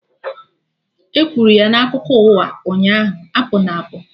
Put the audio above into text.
E kwuru ya na akụkọ ụwa ụnyaahụ, apụna apụ!